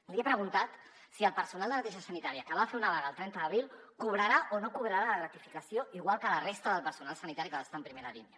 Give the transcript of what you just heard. li he preguntat si el personal de neteja sanitària que va fer una vaga el trenta d’abril cobrarà o no cobrarà la gratificació igual que la resta del personal sanitari que va estar en primera línia